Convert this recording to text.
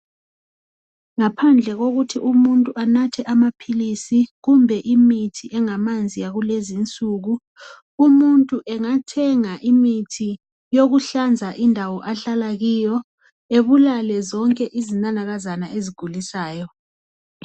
Ngaphandle kokuthi umuntu anathe amaphilisi kumbe imithi engamanzi yakulezi insuku. Umuntu engathenga imithi yokuhlanza indawo ahlala kiyo ebulale zonke izinanakazana ezigulisayo.